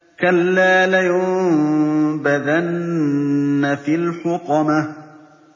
كَلَّا ۖ لَيُنبَذَنَّ فِي الْحُطَمَةِ